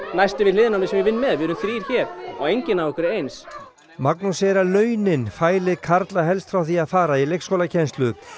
næsti við hliðina á mér sem ég vinn með við erum þrír hér og enginn af okkur er eins Magnús segir að launin fæli karla helst frá því að fara í leikskólakennslu